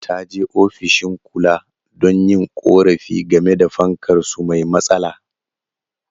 Ta je ofishin kula don yin korafi game da fankar su mai matsala.